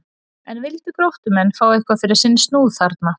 En vildu Gróttumenn fá eitthvað fyrir sinn snúð þarna?